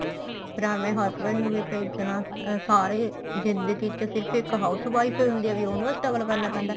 ਫੇਰ ਆਪਣੇ husband ਨੂੰ ਵੀ ਭੇਜਣਾ ਸਾਰੇ ਜਿੰਦਗੀ ਚ ਸਿਰਫ ਇੱਕ house wife ਈ ਹੁੰਦੀ ਏ ਉਹਨੂੰ ਹੀ struggle ਕਰਨਾ ਪੈਂਦਾ